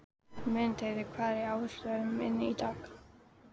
Mundheiður, hvað er á áætluninni minni í dag?